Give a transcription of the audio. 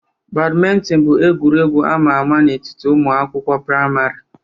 Badminton bụ egwuregwu ama ama n'etiti ụmụ akwụkwọ praịmarị.